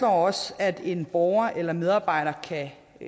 også at en borger eller medarbejder